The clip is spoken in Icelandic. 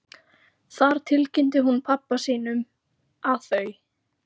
Þar tilkynnti hún pabba sínum, að þau